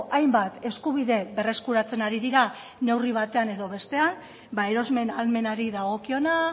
hainbat eskubide berreskuratzen ari dira neurri batean edo bestean erosmen ahalmenari dagokiona